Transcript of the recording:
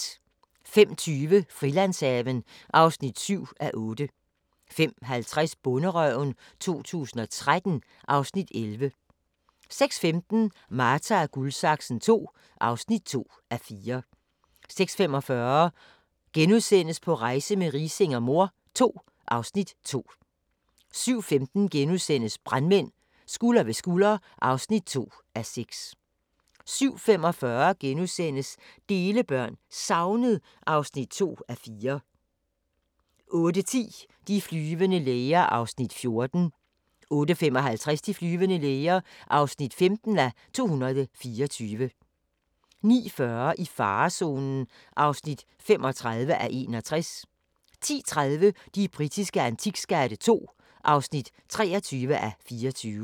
05:20: Frilandshaven (7:8) 05:50: Bonderøven 2013 (Afs. 11) 06:15: Marta & Guldsaksen II (2:4) 06:45: På rejse med Riising og mor II (Afs. 2)* 07:15: Brandmænd – Skulder ved skulder (2:6)* 07:45: Delebørn – Savnet (2:4)* 08:10: De flyvende læger (14:224) 08:55: De flyvende læger (15:224) 09:40: I farezonen (35:61) 10:30: De britiske antikskatte II (23:24)